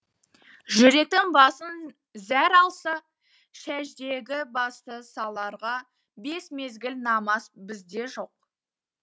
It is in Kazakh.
жүректің басын зәр алса сәждеге басты саларға бес мезгіл намаз бізде жоқ